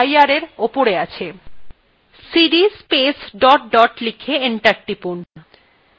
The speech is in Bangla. cd space dot dot লিখে enter টিপলাম